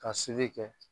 Ka kɛ